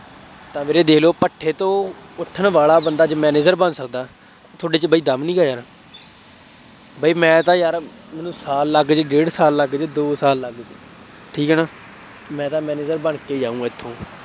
ਤਾਂ ਵੀਰੇ ਦੇ਼ਖ ਲਉ ਭੱਠੇ ਤੋਂ ਉੱਠਣ ਵਾਲਾ ਬੰਦਾ ਅੱਜ manager ਬਣ ਸਕਦਾ, ਤੁਹਾਡੇ ਚ ਬਾਈ ਦਮ ਨਹੀਂ ਹੈਗਾ, ਬਈ ਮੈਂ ਤਾਂ ਯਾਰ, ਮੈਨੂੰ ਸਾਲ ਲੱਗ ਜਾਏ, ਡੇਢ ਸਾਲ ਲੱਗ ਜਾਏ, ਦੋ ਸਾਲ ਲੱਗ, ਠੀਕ ਹੈ ਨਾ, ਮੈਂ ਤਾਂ manager ਬਣ ਕੇ ਹੀ ਜਾਊਂ ਇੱਥੋਂ